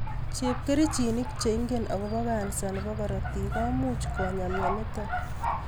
Chepkerichinik che ingen agobo kansa nebo korotik komuch konyaa myonitok